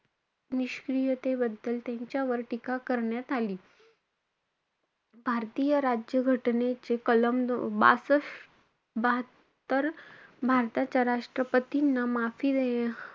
निष्क्रियतेबद्दल त्यांच्यावर टीका करण्यात आली. भारतीय राज्य घटनेचे कलम बासश~ बहात्तर, भारताच्या राष्ट्रपतींना माफी,